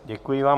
Děkuji vám.